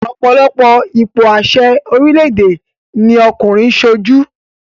Ọ̀pọ̀lọpọ̀ ipò àṣẹ ni orílẹ̀èdè ni ọkùnrin ń sojú